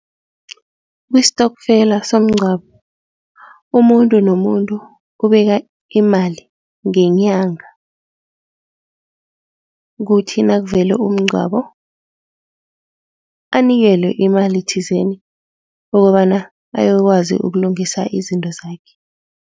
Kustokfela somngcwabo umuntu nomuntu ubeka imali ngenyanga kuthi nakuvele umngcwabo, anikelwe imali thizeni ukobana ayokwazi ukulungisa izinto zakhe.